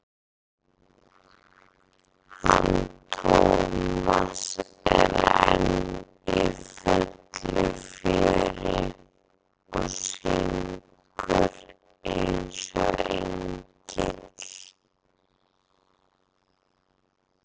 hann Tómas er enn í fullu fjöri og syngur eins og engill.